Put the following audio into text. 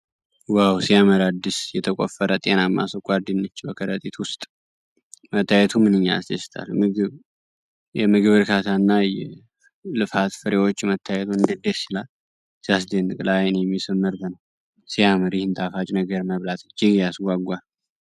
ዋው ሲያምር! አዲስ የተቆፈረ ጤናማ ስኳር ድንች በከረጢት ውስጥ መታየቱ ምንኛ ያስደስታል። የምግብ እርካታ እና የልፋት ፍሬዎች መታየቱ እንዴት ደስ ይላል! ሲያስደንቅ! ለዓይን የሚስብ ምርት ነው። ሲያምር! ይህን ጣፋጭ ነገር መብላት እጅግ ያስጓጓል።